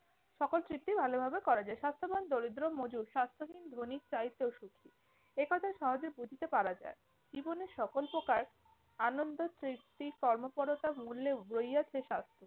সকল তৃপ্তি ভালো ভাবে করা যায়। স্বাস্থ্যবান দারিদ্র মজুর স্বাস্থ্যহীন ধ্বনির চাইতেও সুখী। একথা সহজে বুঝিতে পারা যায়। জীবনে সকল প্রকার আনন্দ, তৃপ্তি, কর্মপরতার মূল্যে রইয়াছে স্বাস্থ্য।